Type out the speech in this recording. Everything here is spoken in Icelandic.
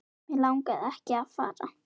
Mig langaði ekki að fara.